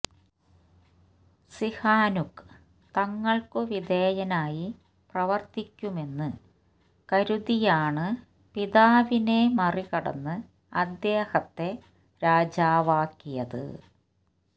Sihanouk തങ്ങൾക്കു വിധേയനായി പ്രവർത്തിക്കുമെന്ന് കരുതിയാണ് പിതാവിനെ മറികടന്ന് അദ്ദേഹത്തെ രാജാവാക്കിയത്